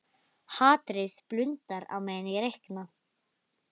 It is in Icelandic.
Hatrið blundar á meðan ég reikna.